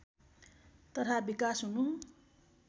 तथा विकास हुनु